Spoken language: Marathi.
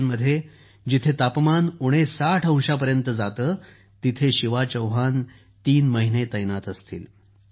सियाचीनमध्ये जेथे तापमान उणे साठ 60 अंशांपर्यंत जाते तिथे शिवा चौहान तीन महिने तैनात असतील